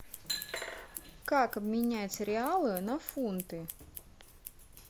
как обменять реалы на фунты